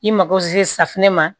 I mago se safunɛ ma